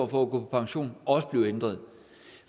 på pension også blive ændret